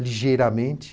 ligeiramente.